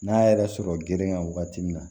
N'a yɛrɛ sɔrɔ geren ka wagati min na